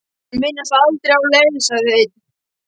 Þeir minnast aldrei á þá leið, sagði einn.